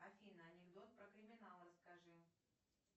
афина анекдот про криминал расскажи